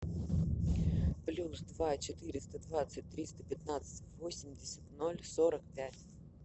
плюс два четыреста двадцать триста пятнадцать восемьдесят ноль сорок пять